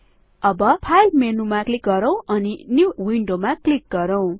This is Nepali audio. अब फाइल मेनुमा क्लिक गरौं अनि न्यू विन्डो मा क्लिक गरौं